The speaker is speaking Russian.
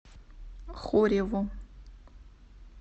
хореву